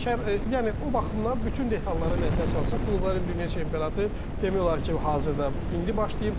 Bəli, yəni o baxımdan bütün detallara nəzər salsaq, klubların dünya çempionatı demək olar ki, hazırda indi başlayıb.